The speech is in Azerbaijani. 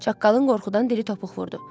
Çaqqalın qorxudan dili topuq vurdu.